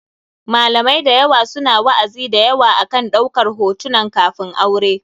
Malamai da yawa su na wa'azi da yawa akan ɗaukan hotunan kafin aure.